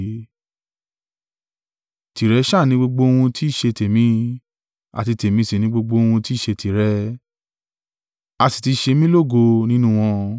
Tìrẹ sá à ni gbogbo ohun tí í ṣe tèmi, àti tèmi sì ni gbogbo ohun tí í ṣe tìrẹ, a sì ti ṣe mí lógo nínú wọn.